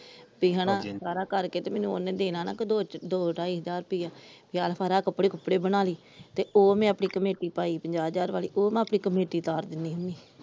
ਤੇ ਹਣਾ ਸਾਰਾ ਕਰਕੇ ਤੇ ਮੈਨੂੰ ਉਹਨੇ ਦੇਣਾ ਦੋਹ ਢਾਈ ਹਜਾਰ ਰੁਪਇਆ ਆ ਫੜ੍ਹ ਕੱਪੜੇ ਕੁਪੜੇ ਬਣਾਲੀ ਤੇ ਉਹ ਮੈ ਆਪਣੀ ਕਮੇਟੀ ਪਾਈ ਪੰਜਾਹ ਹਜਾਰ ਵਾਲੀ ਉਹ ਮੈ ਆਪਣੀ ਕਮੇਟੀ ਤਾਰ ਦਿੰਦੀ ਹੁੰਦੀ ।